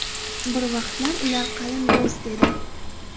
Bir vaqtlar ular qalin do‘st edi.